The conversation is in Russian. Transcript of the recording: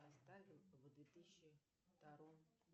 оставил в две тысячи втором